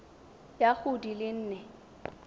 ya go di le nne